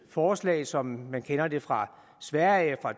forslag som man kender det fra sverige